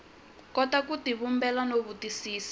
kota ku tivumbela no twisisa